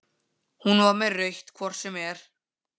Hún var með rautt hvort sem er.